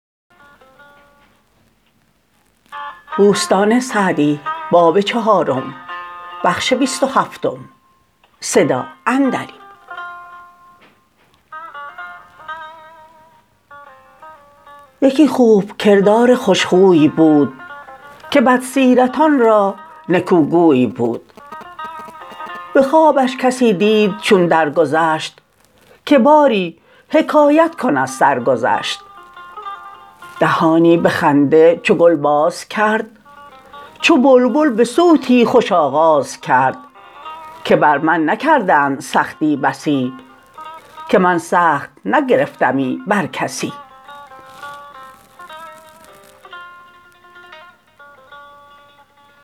یکی خوب کردار خوش خوی بود که بد سیرتان را نکو گوی بود به خوابش کسی دید چون در گذشت که باری حکایت کن از سرگذشت دهانی به خنده چو گل باز کرد چو بلبل به صوتی خوش آغاز کرد که بر من نکردند سختی بسی که من سخت نگرفتمی بر کسی